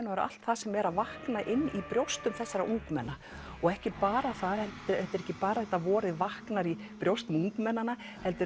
allt það sem er að vakna inn brjóstum þessara ungmenna og ekki bara það þetta er ekki bara vorið vaknar í brjósti ungmennanna heldur